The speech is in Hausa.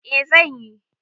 Eh zan yi.